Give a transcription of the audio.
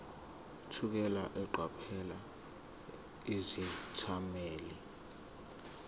thukela eqaphela izethameli